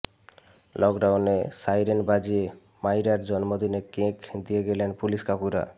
লকডাউনে সাইরেন বাজিয়ে মাইরার জন্মদিনে কেক দিয়ে গেলেন পুলিশ কাকুরা